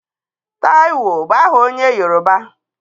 Taịwo bụ aha onye Yoroba.